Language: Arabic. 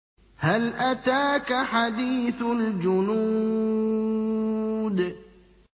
هَلْ أَتَاكَ حَدِيثُ الْجُنُودِ